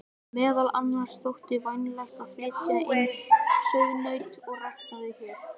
Meðal annars þótti vænlegt að flytja inn sauðnaut og rækta þau hér.